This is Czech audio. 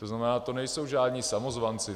To znamená, to nejsou žádní samozvanci.